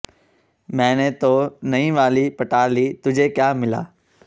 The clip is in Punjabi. ਮੈਨੇ ਤੋ ਨਈ ਵਾਲੀ ਪਟਾ ਲੀ ਤੁਝੇ ਕਿਆ ਮਿਲਾ